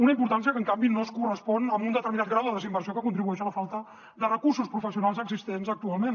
una importància que en canvi no es correspon amb un determinat grau de desinversió que contribueix a la falta de recursos professionals existents actualment